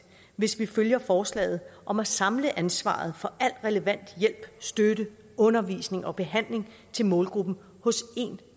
hvis vi følger forslaget om at samle ansvaret for al relevant hjælp støtte undervisning og behandling til målgruppen hos én